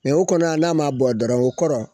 o kɔni n'a ma bɔ dɔrɔn kɔrɔ